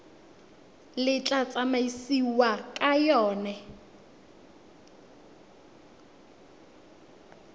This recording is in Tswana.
le tla tsamaisiwang ka yona